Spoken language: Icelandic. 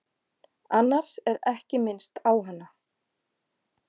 Annars er ekki minnst á hana.